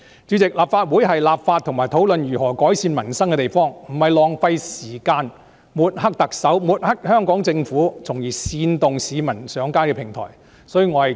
主席，立法會是立法及討論如何改善民生的地方，不是浪費時間抹黑特首及香港政府，從而煽動市民上街的平台。